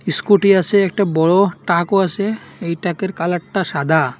Scooty আছে একটা বড়ো টাকও আছে এই টাকের কালারটা সাদা।